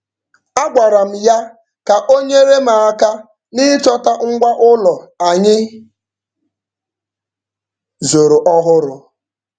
A gwara m ya ka o nyere m aka n'ịchọta ngwa ụlọ anyị zụrụ ọhụrụ.